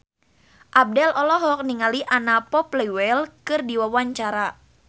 Abdel olohok ningali Anna Popplewell keur diwawancara